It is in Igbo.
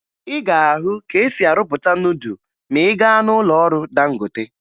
Ị ga-ahụ ka e si arụpụta nudụ ma ị gaa n'ụlọọrụ Dangote